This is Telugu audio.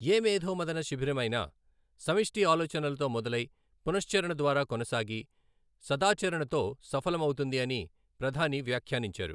ఏ మేధోమథన శిబిరమైనా సమష్టి ఆలోచనలతో మొదలై, పునశ్చరణ ద్వారా కొనసాగి, సదాచరణతో సఫలమవుతుంది అని ప్రధాని వ్యాఖ్యానించారు.